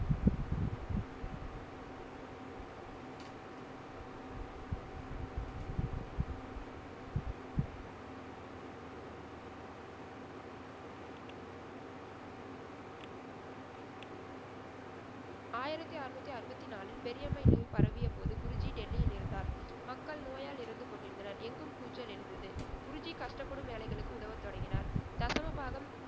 ஆயிரத்தி அருநூத்தி அறுபத்தி நாளில் பெரியம்மை நோய் பரவிய போது குருஜி டெல்லியில் இருந்தார். மக்கள் நோயால் இறந்து கொண்டிருந்தனர். எங்கும் கூச்சல் எழுந்தது. குருஜி கஷ்டப்படும் ஏழைகளுக்கு உதவத் தொடங்கினார். தசமபாகம்,